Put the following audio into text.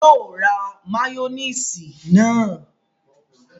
Yóò ra máyónísì náà